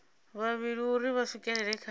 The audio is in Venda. vhavhili uri vha swikelele kha